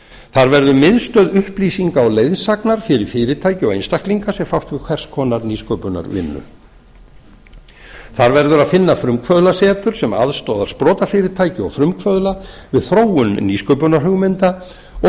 þar verður miðstöð upplýsinga og leiðsagnar fyrir fyrirtæki og einstaklinga sem fást við hvers konar nýsköpunarvinnu þar verður að finna frumkvöðlasetur sem aðstoðar sprotafyrirtæki og frumkvöðla við þróun nýsköpunarhugmynda og